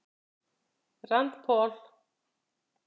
Rand Paul